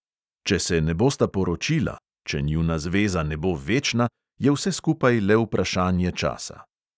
Če se ne bosta poročila – če njuna zveza ne bo večna – je vse skupaj le vprašanje časa.